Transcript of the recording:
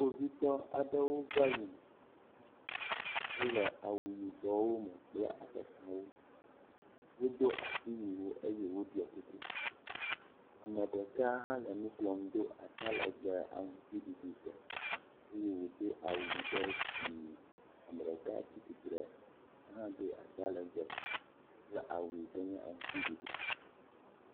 Kpovitɔ aɖewo va yina wole awu yibɔwo me kple afɔkpawo. Wodo asiwuiwo eye woɖɔ kuku. Ame ɖeka hale nu klɔm do ata legbe aŋutiɖiɖitɔ eye wòdo awu ɖe dzi. Ame ɖeka tsi tsitre ya hã do ata legbe kple awu yi ke nye aŋutiɖiɖi.